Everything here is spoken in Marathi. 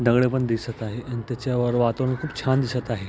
दगडपण दिसत आहे आणि त्याचावर वातावरण खूप छान दिसत आहे.